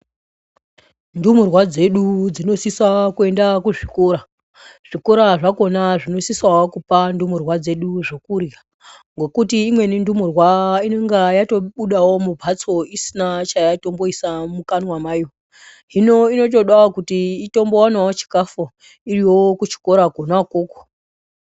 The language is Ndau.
Ndumurwa dzedu dzinosisa kuenda kuzvikora , zvikora zvakona zvinosisawo kupa ndumurwa dzedu zvokurya ngokuti imweni ndumurwa inonga yatobudawo mumbatso isina chayatomboisa mukanwa mayo hino inotombodawo kuti itombowanawo chikafu iriyo kuchikora Kona ukoko.